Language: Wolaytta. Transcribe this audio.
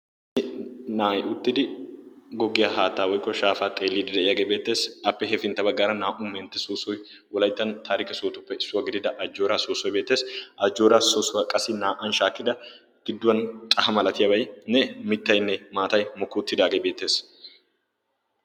ani naa'i uttidi goggiyaa haattaa woikko shaafaa xeelliidi de'iyaagee beettees appe hefintteba gaara naa''u mentte soossoi ulaittan taari ke sootuppe issuwaa gidida ajjooraa soossoi beettees ajjooraa soossuwaa qassi naa''an shaakkida gidduwan xaha malatiyaabatinne mittaynne maatay mokki uttidaagee beettees